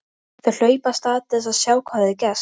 Þau hlaupa af stað til að sjá hvað hafi gerst.